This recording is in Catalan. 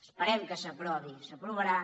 esperem que s’aprovi s’aprovarà